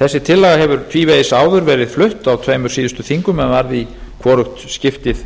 þessi tillaga hefur tvívegis áður verið flutt á tveimur síðustu þingum en varð í hvorugt skiptið